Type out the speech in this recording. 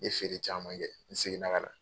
N ye feere caman kɛ n segin na ka na.